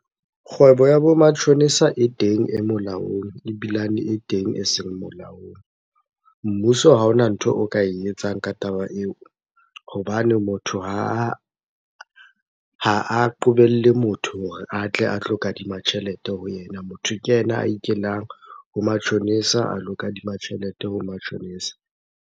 Kgwebo ya bo matjhonisa e teng e molaong, ebilane e teng e seng molaong. Mmuso ha hona ntho o ka e etsang ka taba eo hobane motho ha a qobelle motho hore a tle a tlo kadima tjhelete ho yena. Motho ke yena a ikelang ho matjhonisa a lo kadima tjhelete ho matjhonisa.